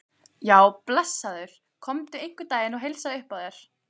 Já, blessaður komdu einhvern daginn og heilsaðu upp á þær.